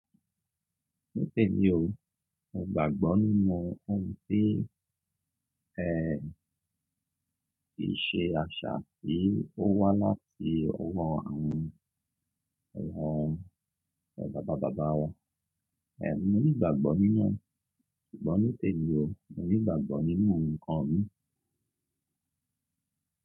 Nítèmi o, mo gbàgbọ́ nínú ohun tí, ẹ, ìṣe àṣà tí ó wá láti ọwọ́ àwọn ọwọ́, ẹ́, bàbá bàbá wa. Ẹ̀, mo ní ìgbàgbọ́ nínú ẹ, ṣùgbọ́n nítèmi o, mo ní ìgbàgbọ́ nínú ǹkan mi.